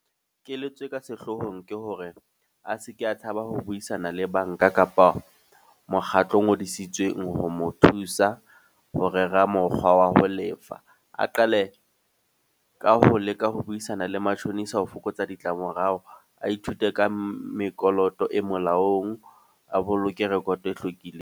Keletso e ka sehlohong ke hore a seke a tshaba ho buisana le banka kapa mokgatlo o ngodisitsweng ho mo thusa, ho rera mokgwa wa ho lefa. A qale ka ho leka ho buisana le matjhonisa ho fokotsa ditlamorao. A ithute ka mekoloto e molaong, a boloke record e hlwekileng.